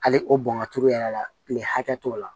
Hali o bɔn ka turu yɛrɛ la kile hakɛ t'o la